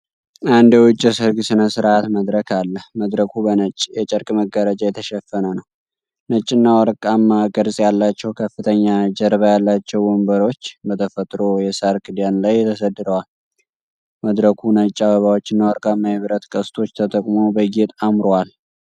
አንድ የውጭ የሠርግ ሥነ ሥርዓት መድረክ አለ። መድረኩ በነጭ የጨርቅ መጋረጃ የተሸፈነ ነው። ነጭና ወርቃማ ቅርጽ ያላቸው ከፍተኛ ጀርባ ያላቸው ወንበሮች በተፈጥሮ የሣር ክዳን ላይ ተሰድረዋል። መድረኩ ነጭ አበባዎችና ወርቃማ የብረት ቅስቶች ተጠቅሞ በጌጥ አምሮአል።